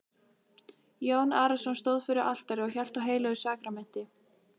Jón Arason stóð fyrir altari og hélt á heilögu sakramenti.